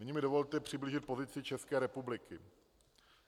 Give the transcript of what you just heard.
Nyní mi dovolte přiblížit pozici České republiky.